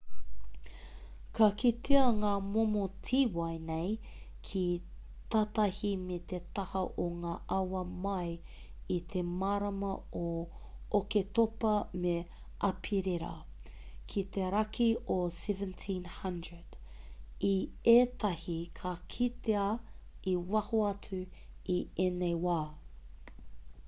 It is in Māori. ka kitea ngā momo tīwai nei ki tātahi me te taha o ngā awa mai i te marama o oketopa me aperira ki te raki o 1700 i ētahi ka kitea i waho atu i ēnei wā